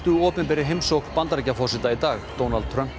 opinberri heimsókn Bandaríkjaforseta í dag Donald Trump og